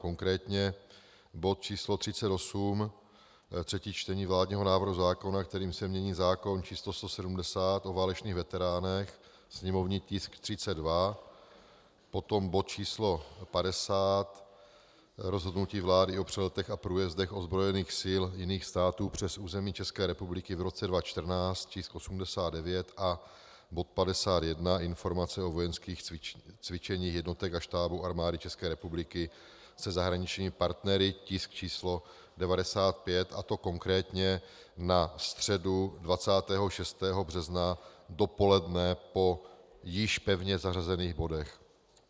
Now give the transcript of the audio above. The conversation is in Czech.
Konkrétně bod číslo 38, třetí čtení vládního návrhu zákona, kterým se mění zákon č. 170 o válečných veteránech, sněmovní tisk 32, potom bod číslo 50, Rozhodnutí vlády o přeletech a průjezdech ozbrojených sil jiných států přes území České republiky v roce 2014, tisk 89, a bod 51, Informace o vojenských cvičeních jednotek a štábů Armády České republiky se zahraničními partnery, tisk číslo 95, a to konkrétně na středu 26. března dopoledne po již pevně zařazených bodech.